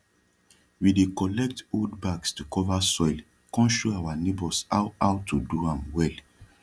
we dey collect old bags to cova soil con show our neighbours how how to do am well